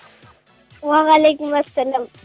уағалейкумассалам